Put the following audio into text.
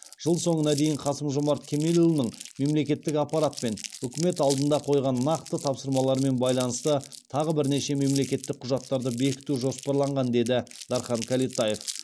жыл соңына дейін қасым жомарт кемелұлының мемлекеттік аппарат пен үкімет алдында қойған нақты тапсырмалармен байланысты тағы бірнеше мемлекеттік құжаттарды бекіту жоспарланған деді дархан кәлетаев